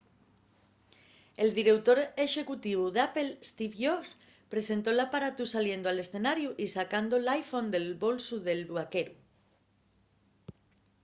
el direutor exécutivu d'apple steve jobs presentó l’aparatu saliendo al escenariu y sacando l’iphone del bolsu del vaqueru